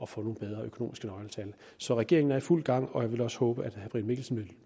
få nogle bedre økonomiske nøgletal så regeringen er i fuld gang og jeg vil også håbe at herre brian mikkelsen vil